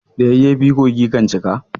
Da yayyafi kogi kan cika.